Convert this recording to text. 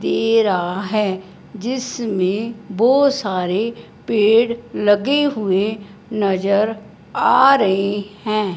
दे रहा है जिसमें बहुत सारे पेड़ लगे हुए नजर आ रहे हैं।